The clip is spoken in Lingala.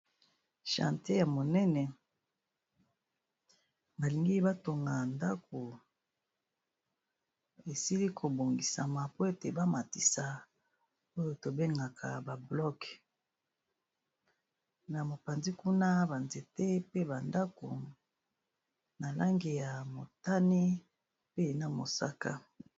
Chantier ya monene ba lingi ba tonga ndako esili ko bongisama po ete ba matisa oyo to bengaka ba blok. Na mopanzi kuna ba nzete, pe ba ndako, na langi ya motane pe na mosaka.